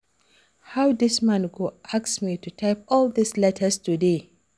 How dis man go ask me to type all dis letters today?